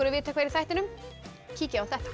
að vita hvað er í þættinum kíkið á þetta